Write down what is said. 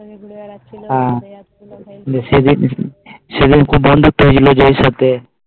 ঘুরে বেড়াচ্ছিল হ্যাঁ